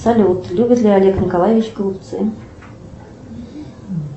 салют любит ли олег николаевич голубцы